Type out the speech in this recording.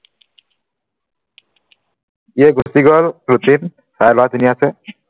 এই গুচি গল routine চাই লোৱা